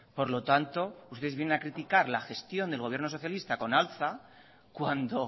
por lo tanto ustedes vienen a criticar la gestión del gobierno socialista con alza cuando